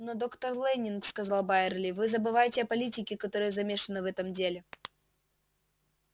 но доктор лэннинг сказал байерли вы забываете о политике которая замешана в этом деле